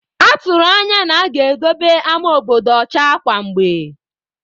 A tụrụ anya na-aga edobe ama obodo ọcha kwa mgbe.